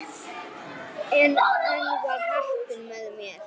En enn var heppnin með mér.